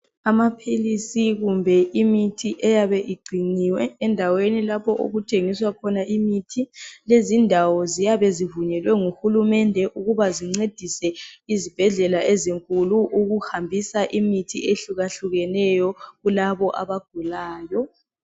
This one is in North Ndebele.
Amaphilisi kumbe imithi eyabe igciniwe endaweni lapho okuthengiswa khona imithi lezindawo ziyabe zivunyelwe nguhulumende ukuba zincedise izibhedlela ezinkulu ukuhambisa imithi ehluka-hlukeneyo kulabo abagulayo